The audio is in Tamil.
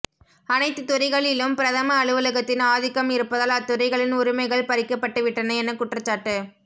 அனைத்து துறைகளிலும் பிரதம அலுவலகத்தின் ஆதிக்கம் இருப்பதால் அத்துறைகளின் உரிமைகள் பறிக்கப்பட்டுவிட்டன என குற்றச்சாட்டு